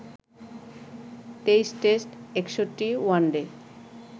২৩ test, ৬১ one day